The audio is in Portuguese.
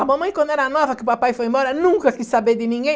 A mamãe, quando era nova, que o papai foi embora, nunca quis saber de ninguém.